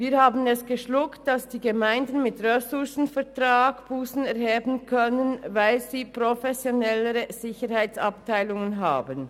Wir haben es geschluckt, dass die Gemeinden mit einem Ressourcenvertrag Bussen erheben können, denn diese haben professionelle Sicherheitsabteilungen.